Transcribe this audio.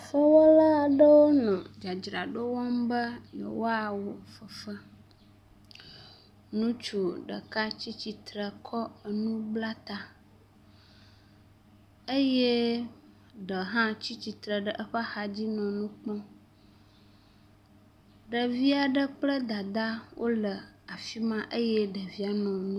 Fefe wɔla aɖewo nɔ dzadzraɖo wɔm be yewoawo fefe. Ŋutsu ɖeka tsi tsitre kɔ enu bla ta eye ɖehã tsi tsitre ɖe eƒe axadzi nɔ nu kpɔm. Ɖevi aɖe kple dada wole afi ma eye …